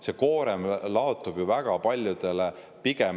See koorem laotub ju väga paljude peale.